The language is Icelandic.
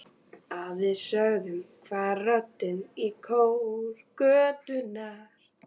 Að því sögðu hvarf röddin í kór götunnar.